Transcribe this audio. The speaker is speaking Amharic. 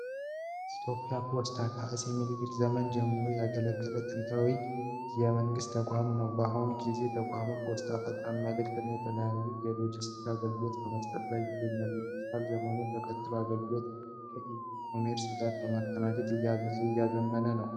ኢትዮጵያ ፖስታ ከአጼ ምኒልክ ዘመን ጀምሮ ያገለገለ ጥንታዊ የመንግስት ተቋም ነው። በአሁኑ ጊዜ ተቋሙ ፖስታ፣ ፈጣን መልዕክት እና የተለያዩ የሎጅስቲክስ አገልግሎቶችን በመስጠት ላይ ይገኛል። የዲጂታል ዘመኑን ተከትሎም አገልግሎቶቹን ከኢ-ኮሜርስ ጋር በማቀናጀት እያዘመነ ነው።